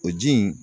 O ji in